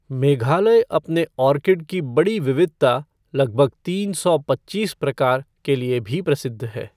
मेघालय अपने ऑर्किड की बड़ी विविधता, लगभग तीन सौ पच्चीस प्रकार, के लिए भी प्रसिद्ध है।